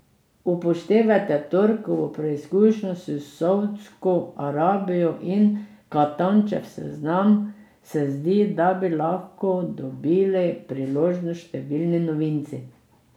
Upoštevaje torkovo preizkušnjo s Saudsko Arabijo in Katančev seznam se zdi, da bi lahko dobili priložnost številni novinci.